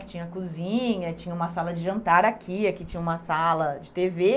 Que tinha cozinha, tinha uma sala de jantar aqui, aqui tinha uma sala de tê vê.